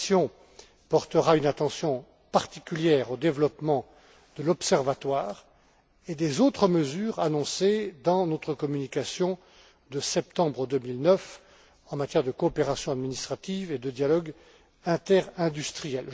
La Commission portera une attention particulière au développement de l'Observatoire et des autres mesures annoncées dans notre communication de septembre 2009 en matière de coopération administrative et de dialogue interindustriel.